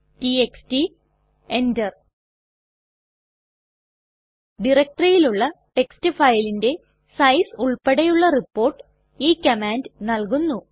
TXT enter ഡയറക്ടറിയിലുള്ള text ഫയലിന്റെ size ഉൾപ്പടെയുള്ള റിപ്പോർട്ട് ഈ കമാൻഡ് നല്കുന്നു